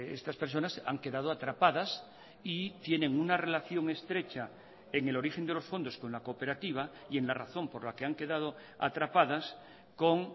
estas personas han quedado atrapadas y tienen una relación estrecha en el origen de los fondos con la cooperativa y en la razón por la que han quedado atrapadas con